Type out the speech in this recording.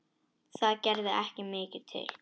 Það gerði ekki mikið til.